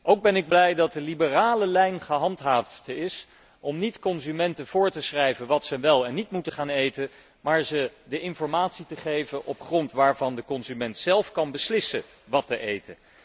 Ook ben ik blij dat de liberale lijn gehandhaafd is om niet consumenten voor te schrijven wat ze wel en niet moeten eten, maar ze de informatie te geven op grond waarvan de consument zelf kan beslissen wat hij eet.